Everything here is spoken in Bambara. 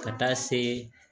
Ka taa se